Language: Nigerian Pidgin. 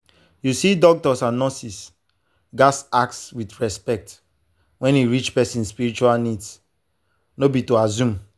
you see doctors and nurses gats ask with respect when e reach person spiritual needs no be to assume.